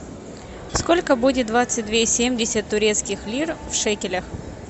сколько будет двадцать две семьдесят турецких лир в шекелях